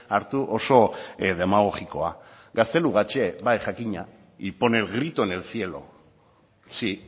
hartu oso demagogikoa gaztelugatxe bai jakina y pone el grito en el cielo sí